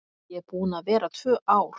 Ég er búin að vera tvö ár.